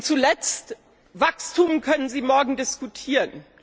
Zuletzt Wachstum können Sie morgen diskutieren.